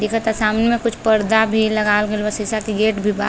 दिखता सामने मे कुछ परदा भी लगावल गईल बा। शिशा के गेट भी बा।